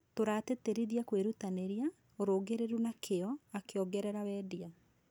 Tũratĩtĩrithia kũirutanĩria, ũrũngiriru na kĩo,'akĩongerera Wandia.